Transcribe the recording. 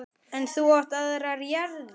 En þú átt aðrar jarðir.